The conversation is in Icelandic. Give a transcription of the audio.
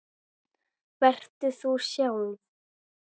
Vertu þú sjálf.